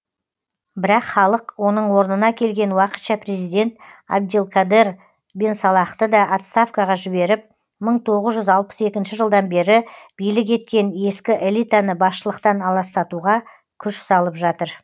бірақ халық оның орнына келген уақытша президент абделкадер бенсалахты да отставкаға жіберіп мың тоғыз жүз алпыс екінші жылдан бері билік еткен ескі элитаны басшылықтан аластатуға күш салып жатыр